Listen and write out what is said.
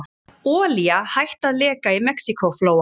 Olía hætt að leka í Mexíkóflóa